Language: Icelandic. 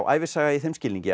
ævisaga í þeim skilningi